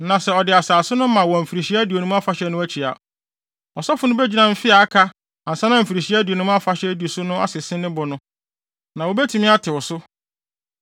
Na sɛ ɔde asase no ma wɔ Mfirihyia Aduonum Afahyɛ no akyi a, ɔsɔfo no begyina mfe a aka ansa na Mfirihyia Aduonum Afahyɛ a edi so no so asese ne bo no, na wobetumi atew so.